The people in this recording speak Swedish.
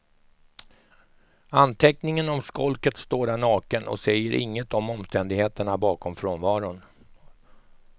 Anteckningen om skolket står där naken och säger inget om omständigheterna bakom frånvaron.